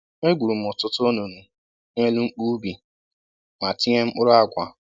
E gwuru m ọtụtụ onunu n'elu mkpu ubi ma tinye mkpụrụ àgwà